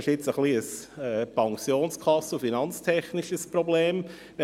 Es ist ein wenig ein finanztechnisches Problem und ein Problem der Pensionskassen.